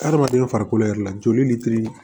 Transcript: Adamaden farikolo yɛrɛ la joli litiri